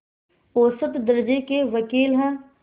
औसत दर्ज़े के वक़ील हैं